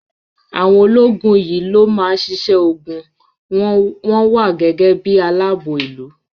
Àwọn ológun yìí ló má ń ṣíṣe ogun, wọ́n wà gẹ́gẹ́ bí i aláààbò ìlú